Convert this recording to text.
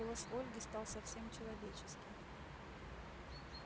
голос ольги стал совсем человеческим